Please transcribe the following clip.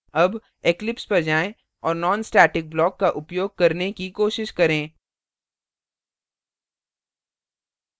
अब eclipse पर जाएँ और nonstatic block का उपयोग करने की कोशिश करें